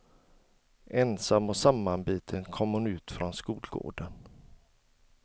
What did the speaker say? Ensam och sammanbiten kom hon ut från skolgården.